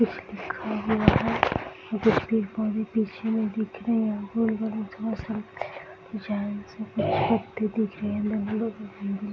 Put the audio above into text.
कुछ लिखा हुआ है जिसकी पीछे में दिख रही है गोल-गोल दिख रही है --